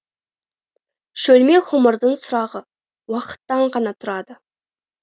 шөлмек ғұмырдың сұрағы уақыттан ғана тұрады